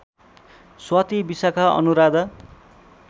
Swati Vishakha Anuradha